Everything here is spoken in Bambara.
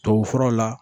Tubabufuraw la